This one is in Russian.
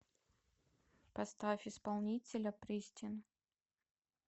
поставь исполнителя пристин